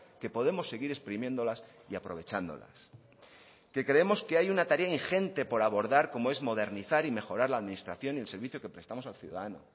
que podemos seguir exprimiéndolas y aprovechándolas que creemos que hay una tarea ingente por abordar como es modernizar y mejorar la administración y el servicio que prestamos al ciudadano